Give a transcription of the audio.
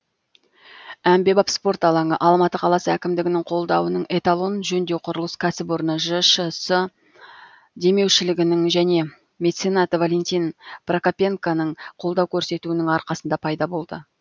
әмбебап спорт алаңы алматы қаласы әкімдігінің қолдауының эталон жөндеу құрылыс кәсіпорны жшс демеушілігінің және меценат валентин прокопенконың қолдау көрсетуінің арқасында пайда болды